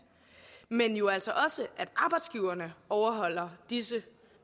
men jo altså også at arbejdsgiverne overholder disse